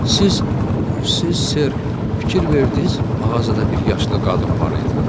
Siz, siz Sir, fikir verdiniz, mağazada bir yaşlı qadın var idi.